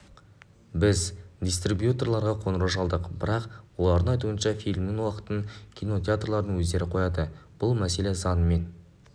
біз дистрибьюторға қоңырау шалдық бірақ олардың айтуынша фильмнің уақытын кинотеатрлардың өздері қояды бұл мәселе заңмен